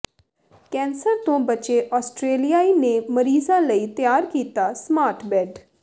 cancer ਤੋਂ ਬਚੇ ਆਸਟ੍ਰੇਲੀਆਈ ਨੇ ਮਰੀਜ਼ਾਂ ਲਈ ਤਿਆਰ ਕੀਤਾ ਸਮਾਰਟ ਬੈੱਡ